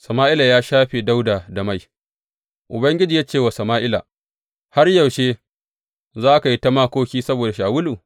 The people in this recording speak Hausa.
Sama’ila ya shafe Dawuda da mai Ubangiji ya ce wa Sama’ila, Har yaushe za ka yi ta makoki saboda Shawulu?